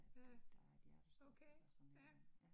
Ja, okay ja